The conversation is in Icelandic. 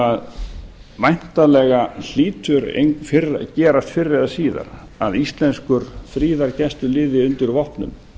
sem væntanlega hlýtur að gerast fyrr eða síðar að íslenskur friðargæsluliði undir vopnum